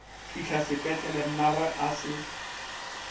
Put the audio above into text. fihla sepetlele mmagwe a se